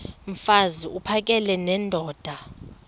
mfaz uphakele nendoda